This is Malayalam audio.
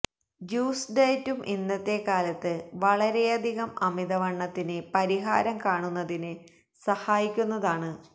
ജ്യൂസ് ഡയറ്റും ഇന്നത്തെ കാലത്ത് വളരെയധികം അമിതവണ്ണത്തിന് പരിഹാരം കാണുന്നതിന് സഹായിക്കുന്നതാണ്